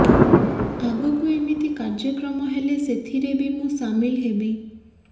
ଆଗକୁ ଏମିତି କାର୍ଯ୍ୟକ୍ରମ ହେଲେ ସେଥିରେ ବି ମୁଁ ସାମିଲ୍ ହେବି